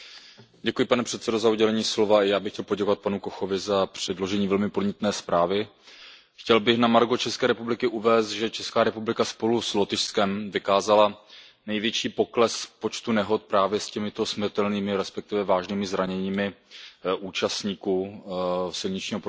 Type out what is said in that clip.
Pane předsedající, já bych chtěl poděkovat panu Kochovi za předložení velmi podnětné zprávy. Chtěl bych na adresu České republiky uvést, že Česká republika spolu s Lotyšskem vykázala největší pokles v počtu nehod právě s těmito smrtelnými, respektive vážnými zraněními účastníků silničního provozu,